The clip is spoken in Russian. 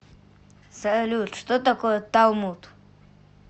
салют что такое талмуд